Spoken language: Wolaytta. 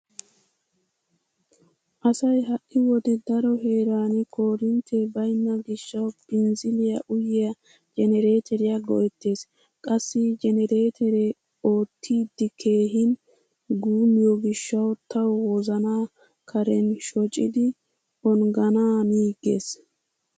Asay ha"i wode daro heeran korintte baynna gishshawu binzziliya uyiya jenereeteriya go'ettees. Qassi jenereeteree oottiddi keehin guummiyo gishshawu tawu wozanaa karen shocidi ongganaaniiggees.